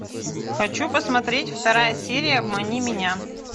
хочу посмотреть вторая серия обмани меня